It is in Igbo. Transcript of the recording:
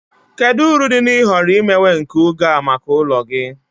Kedu uru dị na ịhọrọ imewe nke oge a maka ụlọ gị?